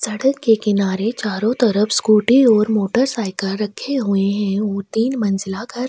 सड़क के किनारे चारों तरफ स्कूटी और मोटर साइकिल रखे हुए है और तीन मंजिला घर --